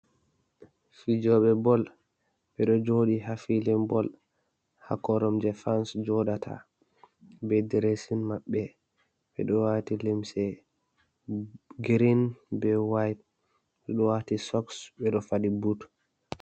Fijoɓe bol ɓeɗo joɗi hafilin bol, ha korum je fans joɗata be diresin maɓɓe ɓeɗo wati limsi girin be wayit ɓeɗo wati soks ɓeɗo fadi but.